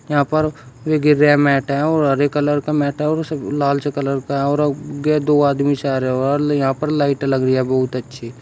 यहां पर एक ग्रे मैट है और हरे कलर का मैट है और लाल सा कलर है और दो आदमी सारे वाले यहां पर लाइट लग रही है बहुत अच्छी--